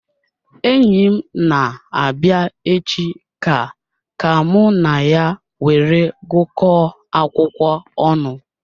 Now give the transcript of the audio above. Enyim na-abia echi ka ka mụ na ya were gu ko akwụkwọ ọnụ